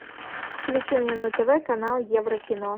включи мне на тв канал еврокино